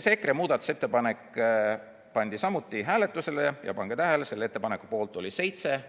See EKRE muudatusettepanek pandi samuti hääletusele ja pange tähele: selle ettepaneku poolt oli 7,